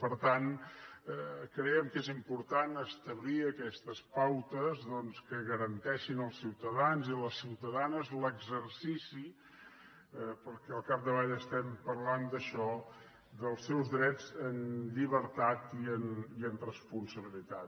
per tant creiem que és important establir aquestes pautes doncs que garanteixin als ciutadans i a les ciutadanes l’exercici perquè al capdavall estem parlant d’això dels seus drets amb llibertat i amb responsabilitat